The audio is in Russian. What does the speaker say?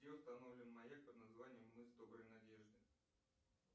где установлен маяк под названием мыс доброй надежды